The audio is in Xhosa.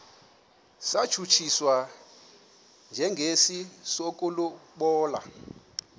satshutshiswa njengesi sokulobola